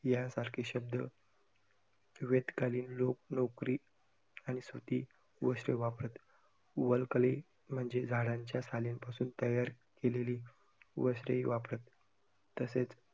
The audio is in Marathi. यांसारखे शब्द वेदीक कालीन लोक लोकरी आणि सूती वस्त्र वापरत, वलकली म्हणजे झाडांच्या सालींपासून तयार केलेली वस्त्रही वापरत, तसेच